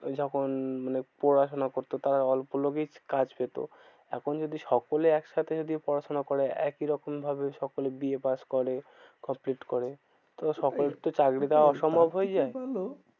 যখন মানে পড়াশোনা করতো অল্প লোকেই কাজ পেতো। এখন যদি সকলে একসাথে যদি পড়াশোনা করে একইরকম ভাবে সকলে বি এ pass করে complete করে। তো সকল কে চাকরি দেওয়া অসম্ভব হয়ে যায়। সব থেকে ভালো,